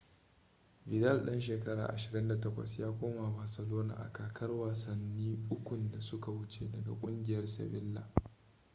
vidal dan shekara 28 ya koma barcelona a kakar wasanni ukun da suka wuce daga kungiyar sevilla